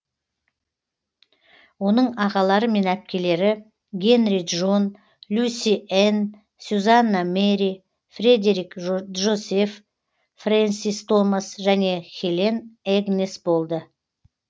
оның ағалары мен әпкелері генри джон люси энн сюзанна мэри фредерик джозеф фрэнсис томас және хелен эгнес болды